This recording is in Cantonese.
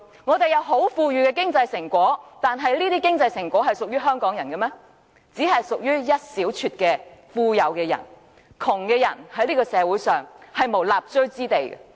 香港有很豐裕的經濟成果，但這些經濟成果並非所有香港人均能享受，能享受的只有一小撮富有人士，窮人在這個社會上沒有立錐之地。